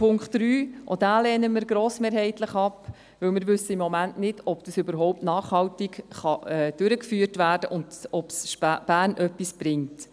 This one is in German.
Auch diesen lehnen wir grossmehrheitlich ab, weil wir im Moment nicht wissen, ob das überhaupt nachhaltig durchgeführt werden kann und ob es Bern etwas bringt.